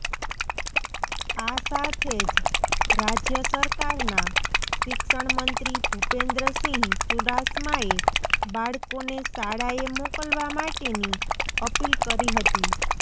આ સાથે જ રાજ્ય સરકારના શિક્ષણમંત્રી ભૂપેન્દ્રસિંહ ચૂડાસમાએ બાળકોને શાળાએ મોકલવા માટેની અપીલ કરી હતી